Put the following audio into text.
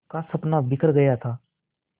का सपना बिखर गया था